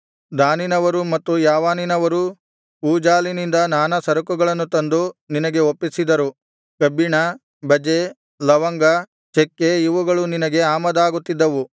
ದಾನಿನವರೂ ಮತ್ತು ಯಾವಾನಿನವರೂ ಊಜಾಲಿನಿಂದ ನಾನಾ ಸರಕುಗಳನ್ನು ತಂದು ನಿನಗೆ ಒಪ್ಪಿಸಿದರುಕಬ್ಬಿಣ ಬಜೆ ಲವಂಗ ಚಕ್ಕೆ ಇವುಗಳು ನಿನಗೆ ಆಮದಾಗುತ್ತಿದ್ದವು